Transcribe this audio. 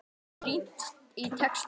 Þar er rýnt í texta.